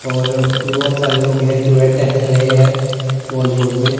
और बहोत सारे लोग हैं जो है टहेल रहे हैं वॉल रोड में--